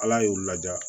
Ala y'u laja